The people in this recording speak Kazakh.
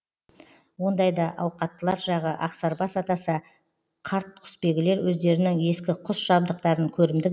ондайда ауқаттылар жағы ақсарбас атаса қарт құсбегілер өздерінің ескі құс жабдықтарын көрімдік